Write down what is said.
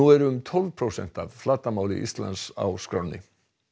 er um tólf prósent af flatarmáli Íslands á